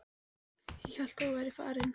Ég hélt að þú værir farin.